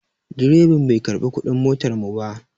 Direban bai karɓi kuɗin motar mu ba.